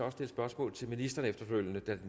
at stille spørgsmål til ministrene efterfølgende